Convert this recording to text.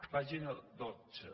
pàgina dotze